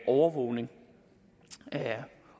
overvågning